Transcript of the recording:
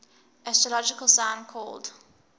astrological sign called